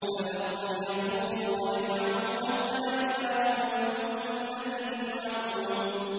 فَذَرْهُمْ يَخُوضُوا وَيَلْعَبُوا حَتَّىٰ يُلَاقُوا يَوْمَهُمُ الَّذِي يُوعَدُونَ